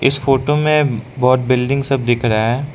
इस फोटो में बहोत बिल्डिंग सब दिख रहा --